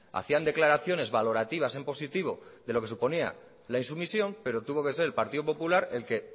hacían declaraciones valorativas en positivo de lo que suponía la insumisión pero tuvo que ser el partido popular el que